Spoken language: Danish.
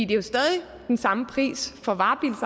det er stadig den samme pris for